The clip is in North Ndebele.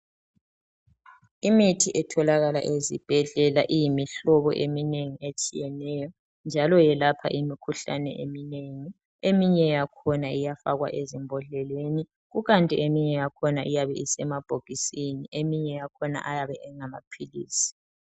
Imithi etholakala ezibhedlela iyimihlobo eminengi etshiyeneyo njalo yelapha imikhuhlane eminengi eminye yakhona iyafakwa ezimbodleleni ikanti eminye yakhona iyabe isemabhokisisni eminye yakhona ayabe engamaphilisi.